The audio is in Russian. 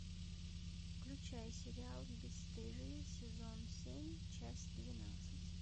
включай сериал бесстыжие сезон семь часть двенадцать